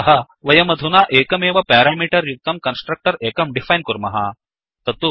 अथः वयमधुना एकमेव पेरामीटर् युक्तं कन्स्ट्रक्टर् एकं डिफैन् कुर्मः